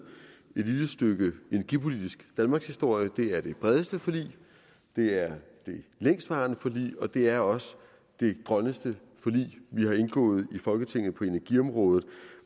lille stykke energipolitisk danmarkshistorie det er det bredeste forlig det er det længstvarende forlig og det er også det grønneste forlig vi har indgået i folketinget på energiområdet